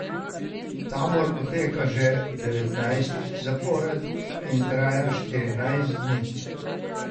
Tabor poteka že devetnajstič zapored in traja štirinajst dni.